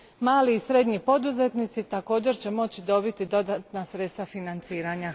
Mali i srednji poduzetnici također će moći dobiti dodatna sredstva financiranja.